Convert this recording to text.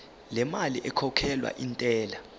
lemali ekhokhelwa intela